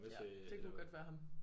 Ja det kunne godt være ham